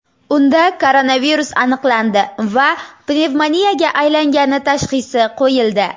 Unda koronavirus aniqlandi va pnevmoniyaga aylangani tashxisi qo‘yildi.